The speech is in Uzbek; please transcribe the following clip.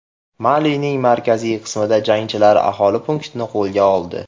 Malining markaziy qismida jangarilar aholi punktini qo‘lga oldi.